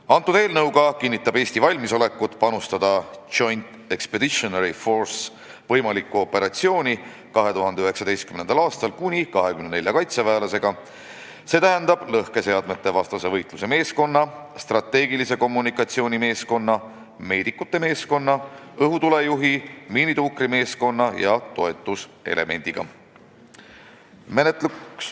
Selle eelnõuga kinnitab Eesti valmisolekut panustada Joint Expeditionary Force'i võimalikku operatsiooni 2019. aastal kuni 24 kaitseväelasega ehk siis lõhkeseadmetevastase võitluse meeskonna, strateegilise kommunikatsiooni meeskonna, meedikute meeskonna, õhutulejuhi, miinituukrimeeskonna ja toetuselemendiga.